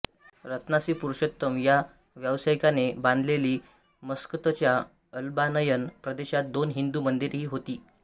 रत्नासी पुरुषोत्तम या व्यावसायिकाने बांधलेली मस्कतच्या अलबानयन प्रदेशात दोन हिंदू मंदिरेही होती